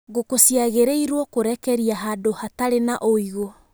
Ngũkũ ciagĩrĩirwo kũrekerĩa handũ hatarĩ na ũigũ.